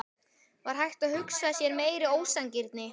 Var hægt að hugsa sér meiri ósanngirni?